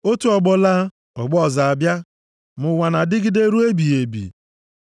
Otu ọgbọ laa, ọgbọ ọzọ abịa, ma ụwa na-adịgide ruo ebighị ebi.